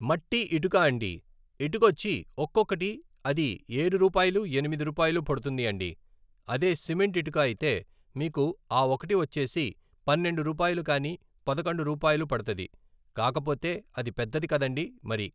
మట్టి ఇటుక అండి ఇటుకొచ్చి ఒక్కొక్కటి అది ఏడు రూపాయలు ఎనిమిది రూపాయలు పడుతుంది అండి అదే సిమెంట్ ఇటుక అయితే మీకు ఆ ఒకటి వచ్చేసి పన్నెండు రూపాయలు కానీ పదకొండు రూపాయలు పడతది కాకపోతే అది పెద్దది కదండీ మరి